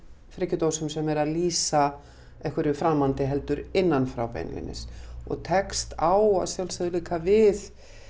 frekjudósum sem eru að lýsa einhverju framandi heldur innan frá beinlínis og tekst á að sjálfsögðu líka við